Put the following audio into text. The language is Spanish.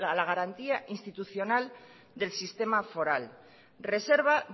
la garantía institucional del sistema foral reserva